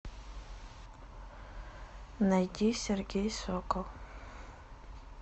найди сергей сокол